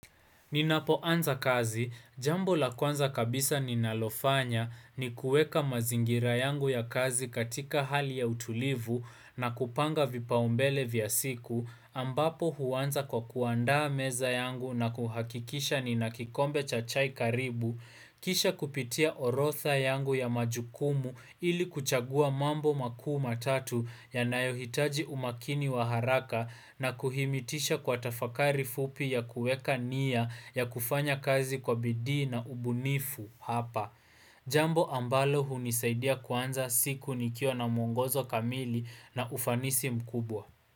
Ninapoanza kazi, jambo la kwanza kabisa ninalofanya ni kueka mazingira yangu ya kazi katika hali ya utulivu na kupanga vipaumbele vya siku, ambapo huanza kwa kuandaa meza yangu na kuhakikisha nina kikombe cha chai karibu, Kisha kupitia orotha yangu ya majukumu ili kuchagua mambo makuu matatu yanayohitaji umakini wa haraka na kuhimitisha kwa tafakari fupi ya kueka nia ya kufanya kazi kwa bidii na ubunifu hapa. Jambo ambalo hunisaidia kuanza siku nikiwa na mwongozo kamili na ufanisi mkubwa.